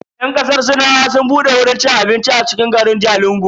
Yan kasar sinawa sun bude wurin ci abincin a cikin garin Jalingo.